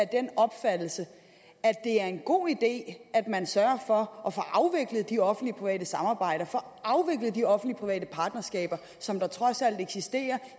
den opfattelse at det er en god idé at man sørger for at få afviklet de offentlig private samarbejder de offentlig private partnerskaber som der trods alt eksisterer